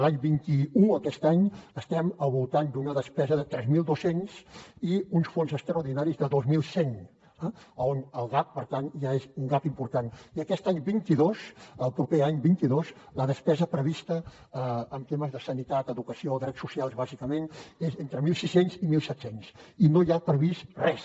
l’any vint un aquest any estem al voltant d’una despesa de tres mil dos cents i uns fons extraordinaris de dos mil cent on el gap per tant ja és un la despesa prevista en temes de sanitat educació drets socials bàsicament és entre mil sis cents i mil set cents i no hi ha previst res